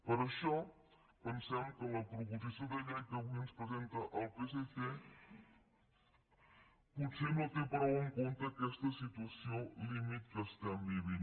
per això pensem que la proposició de llei que avui ens presenta el psc potser no té prou en compte aquesta situació límit que estem vivint